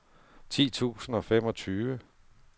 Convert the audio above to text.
ti tusind og femogtyve